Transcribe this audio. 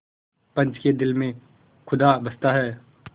पंच के दिल में खुदा बसता है